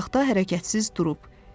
O uzaqda hərəkətsiz durub.